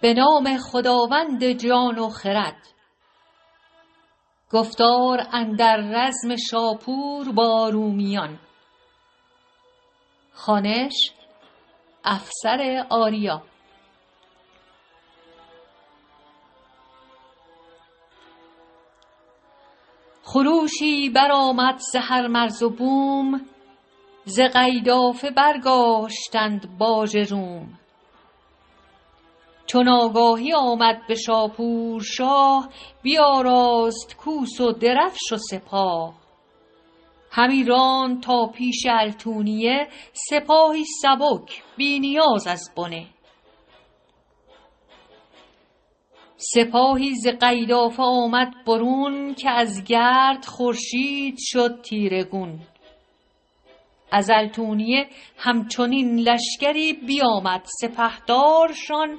وزان پس پراگنده شد آگهی که بیکار شد تخت شاهنشهی بمرد اردشیر آن خردمند شاه به شاپور بسپرد گنج و سپاه خروشی برآمد ز هر مرز و بوم ز قیدافه برداشتند باژ روم چو آگاهی آمد به شاپور شاه بیاراست کوس و درفش و سپاه همی راند تا پیش التوینه سپاهی سبک بی نیاز از بنه سپاهی ز قیدافه آمد برون که از گرد خورشید شد تیره گون ز التوینه هم چنین لشکری بیامد سپهدارشان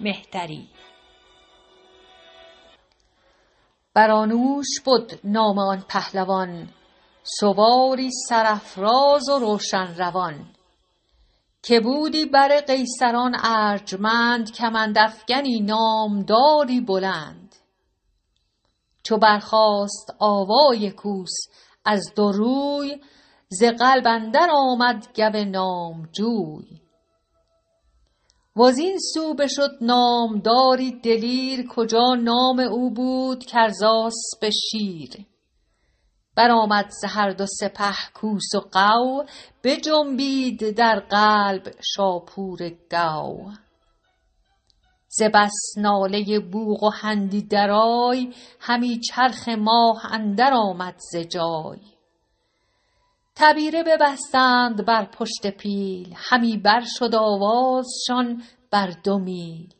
مهتری برانوش بد نام آن پهلوان سواری سرافراز و روشن روان کجا بود بر قیصران ارجمند کمند افگنی نامداری بلند چو برخاست آواز کوس از دو روی ز قلب اندر آمد گو نامجوی وزین سو بشد نامداری دلیر کجا نام او بود گرزسپ شیر برآمد ز هر دو سپه کوس و غو بجنبید در قلبگه شاه نو ز بس ناله بوق و هندی درای همی چرخ و ماه اندر آمد ز جای تبیره ببستند بر پشت پیل همی بر شد آوازشان بر دو میل زمین جنب جنبان شد و پر ز گرد چو آتش درخشان سنان نبرد روانی کجا با خرد بود جفت ستاره همی بارد از چرخ گفت برانوش جنگی به قلب اندرون گرفتار شد با دلی پر ز خون وزان رومیان کشته شد سه هزار بالتوینه در صف کارزار هزار و دو سیصد گرفتار شد دل جنگیان پر ز تیمار شد فرستاد قیصر یکی یادگیر به نزدیک شاپور شاه اردشیر که چندین تو از بهر دینار خون بریزی تو با داور رهنمون چه گویی چو پرسند روز شمار چه پوزش کنی پیش پروردگار فرستیم باژی چنان هم که بود برین نیز دردی نباید فزود همان نیز با باژ فرمان کنیم ز خویشان فراوان گروگان کنیم ز التوینه بازگردی رواست فرستیم با باژ هرچت هواست همی بود شاپور تا باژ و ساو فرستاد قیصر ده انبان گاو غلام و پرستار رومی هزار گرانمایه دیبا نه اندر شمار بالتوینه در ببد روز هفت ز روم اندر آمد به اهواز رفت یکی شارستان نام شاپور گرد برآورد و پرداخت در روز ارد همی برد سالار زان شهر رنج بپردخت بسیار با رنج گنج یکی شارستان بود آباد بوم بپردخت بهر اسیران روم در خوزیان دارد این بوم و بر که دارند هرکس بروبر گذر به پارس اندرون شارستان بلند برآورد پاکیزه و سودمند یکی شارستان کرد در سیستان در آنجای بسیار خرماستان که یک نیم او کرده بود اردشیر دگر نیم شاپور گرد و دلیر کهن دژ به شهر نشاپور کرد که گویند با داد شاپور کرد همی برد هر سو برانوش را بدو داشتی در سخن گوش را یکی رود بد پهن در شوشتر که ماهی نکردی بروبر گذر برانوش را گفت گر هندسی پلی ساز آنجا چنانچون رسی که ما بازگردیم و آن پل به جای بماند به دانایی رهنمای به رش کرده بالای این پل هزار بخواهی ز گنج آنچ آید به کار تو از دانشی فیلسوفان روم فراز آر چندی بران مرز و بوم چو این پل برآید سوی خان خویش برو تازیان باش مهمان خویش ابا شادمانی و با ایمنی ز بد دور وز دست اهریمنی به تدبیر آن پل باستاد مرد فراز آوریدش بران کارکرد بپردخت شاپور گنجی بران که زان باشد آسانی مردمان چو شد شه برانوش کرد آن تمام پلی کرد بالا هزارانش گام چو شد پل تمام او ز ششتر برفت سوی خان خود روی بنهاد تفت